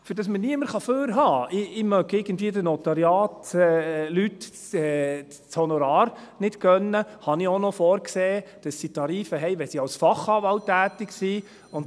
Damit mir niemand vorhalten kann, ich gönne den Notariatsleuten das Honorar nicht, habe ich auch noch vorgesehen, dass sie Tarife haben, wenn sie als Fachanwalt tätig sind.